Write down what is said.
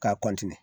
K'a